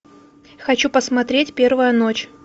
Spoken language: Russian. хочу посмотреть первая ночь